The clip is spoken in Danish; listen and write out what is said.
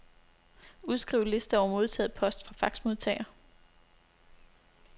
Udskriv liste over modtaget post fra faxmodtager.